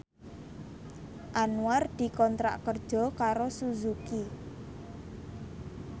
Anwar dikontrak kerja karo Suzuki